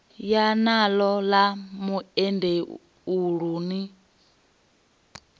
ya naḽo ḽa muendeulu ni